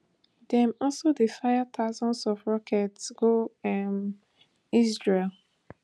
dem also dey fire thousands of rockets go um israel